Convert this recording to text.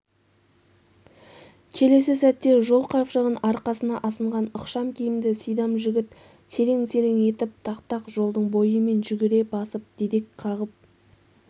келесі сәтте жолқапшығын арқасына асынған ықшам киімді сидам жігіт серең-серең етіп тақтақ жолдың бойымен жүгіре басып дедек қағып